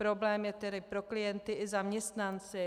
Problém je tedy pro klienty i zaměstnance.